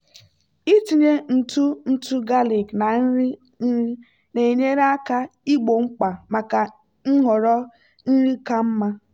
ịtinye ntụ ntụ galik na nri nri na-enyere aka igbo mkpa maka nhọrọ nri ka mma.